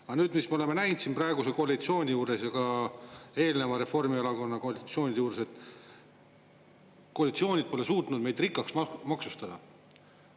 Aga nüüd, mis me oleme näinud siin praeguse koalitsiooni juures ja ka eelneva Reformierakonna koalitsioonide juures, et koalitsioonid pole suutnud meid rikkaks maksustada.